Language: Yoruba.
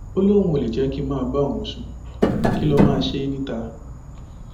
ó lóun ò lè jẹ kí n máa bá òun sùn kí n lọọ máa ṣe é níta